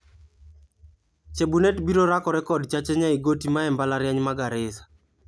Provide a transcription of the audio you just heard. Chebunet biro rakore kod Chacha Nyaigotti mae mbalariany ma Garissa.